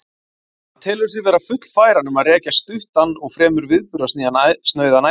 Hann telur sig því vera fullfæran um að rekja stuttan og fremur viðburðasnauðan æviferil.